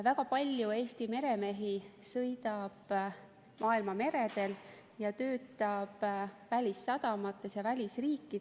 Väga palju Eesti meremehi sõidab maailma meredel ja töötab välissadamates ja välisriikides.